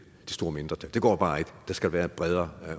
store mindretal det går bare ikke for der skal være en bredere